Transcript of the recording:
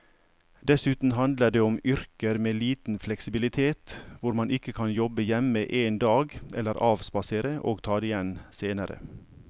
Dessuten handler det om yrker med liten fleksibilitet hvor man ikke kan jobbe hjemme en dag eller avspasere og ta det igjen senere.